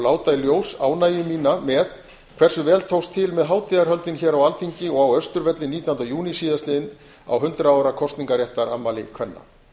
láta í ljós ánægju mína með hversu vel tókst til með hátíðahöldin hér á alþingi og á austurvelli nítjánda júní síðastliðinn á hundrað ára kosningarréttarafmæli kvenna